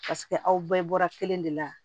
aw bɛɛ bɔra kelen de la